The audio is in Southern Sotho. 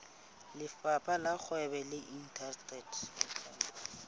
lefapheng la kgwebo le indasteri